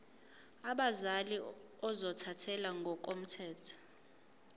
abazali ozothathele ngokomthetho